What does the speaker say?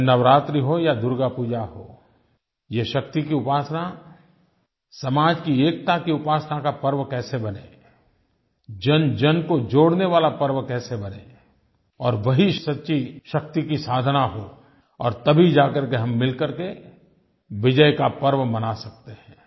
चाहे नवरात्रि हो या दुर्गापूजा हो ये शक्ति की उपासना समाज की एकता की उपासना का पर्व कैसे बने जनजन को जोड़ने वाला पर्व कैसे बने और वही सच्ची शक्ति की साधना हो और तभी जाकर कर के हम मिल कर के विजय का पर्व मना सकते हैं